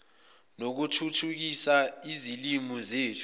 nokuthuthukisa izilimi zethu